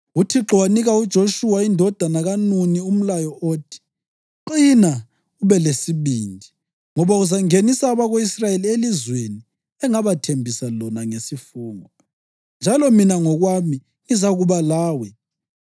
UThixo wanika uJoshuwa indodana kaNuni umlayo othi “Qina ube lesibindi, ngoba uzangenisa abako-Israyeli elizweni engabathembisa lona ngesifungo, njalo mina ngokwami ngizakuba lawe.”